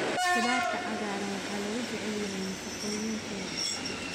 Khudradda cagaaran waxaa lagu jecel yahay nafaqooyinkeeda.